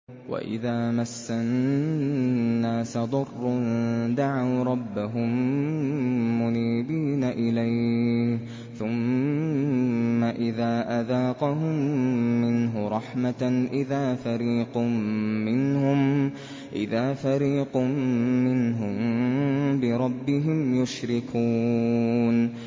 وَإِذَا مَسَّ النَّاسَ ضُرٌّ دَعَوْا رَبَّهُم مُّنِيبِينَ إِلَيْهِ ثُمَّ إِذَا أَذَاقَهُم مِّنْهُ رَحْمَةً إِذَا فَرِيقٌ مِّنْهُم بِرَبِّهِمْ يُشْرِكُونَ